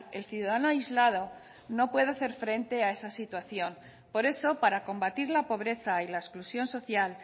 el ciudadano aislado no puede hacer frente a esa situación por eso para combatir la pobreza y la exclusión social